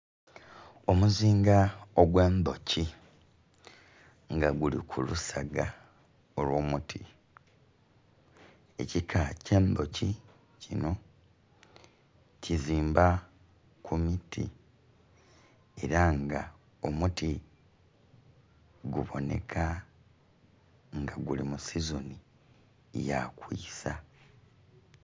Omuzinga ogwendhiki nga guli ku lusoga olwomuti, ekika kyendhoki kinho kizimba ku miti era nga omuti gubonheka nga guli musizonhi ya kwiisa